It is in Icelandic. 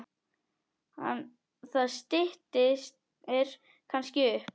Það styttir kannski upp.